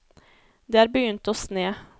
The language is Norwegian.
Det er begynt å sne.